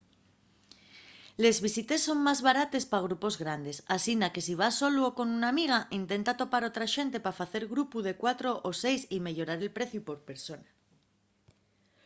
les visites son más barates pa grupos grandes asina que si vas solu o con una amiga intenta topar otra xente pa facer grupu de cuatro o seis y meyorar el preciu por persona